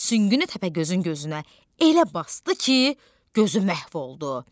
Süngünü Təpəgözün gözünə elə basdı ki, gözü məhv oldu.